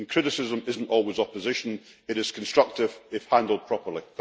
Criticism is not always opposition, it is constructive if handled properly.